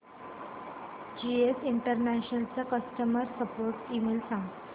GS international चा customer support email सांग